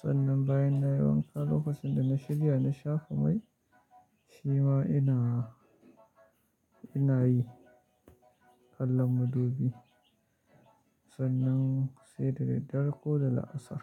Sannan bayan na yi wanka lokacin da na shirya na sha kamai, shi ma ina, ina yi kallon madubi sannan sai da daddare ko da la'asar.